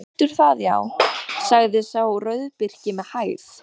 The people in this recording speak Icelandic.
Þú heldur það, já, sagði sá rauðbirkni með hægð.